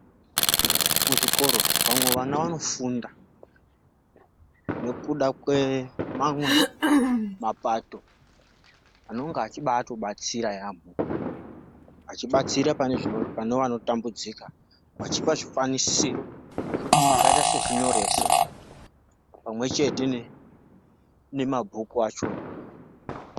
Muzvikoro vamwe vana vanofunda ngekuda kwe mamwe mapato anenge echibaito batsira yamho achi batsira pane vano tambudzika vachipa zvikwanisiro zvakaita se zvinyoreso pamwe chete ne mabhuku acho.